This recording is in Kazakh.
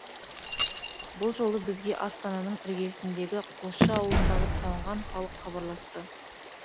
бұл жолы бізге астананың іргесіндегі қосшы ауылындағы тоңған халық хабарласты